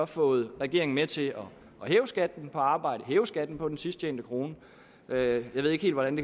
fået regeringen med til hæve skatten på arbejde hæve skatten på den sidst tjente krone jeg ved ikke helt hvordan